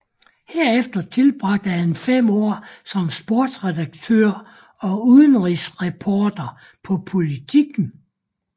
Herefter tilbragte han fem år som sportsredaktør og udenrigsreporter på Politiken